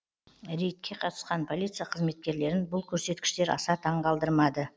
рейдке қатысқан полиция қызметкерлерін бұл көрсеткіштер аса таңғалдырмады